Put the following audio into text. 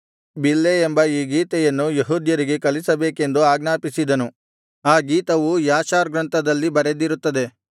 ಬಿಲ್ಲೆ ಎಂಬ ಈ ಗೀತೆಯನ್ನು ಯೆಹೂದ್ಯರಿಗೆ ಕಲಿಸಬೇಕೆಂದು ಆಜ್ಞಾಪಿಸಿದನು ಆ ಗೀತವು ಯಾಷಾರ್ ಗ್ರಂಥದಲ್ಲಿ ಬರೆದಿರುತ್ತದೆ